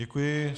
Děkuji.